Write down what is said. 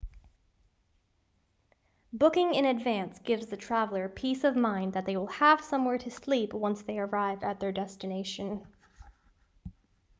booking in advance gives the traveller peace of mind that they will have somewhere to sleep once they arrive at their destination